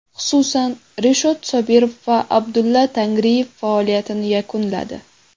Xususan, Rishod Sobirov va Abdulla Tangriyev faoliyatini yakunladi.